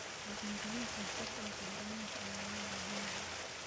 Dhaqangelinta sharciyada deegaanka ayaa loo baahan yahay.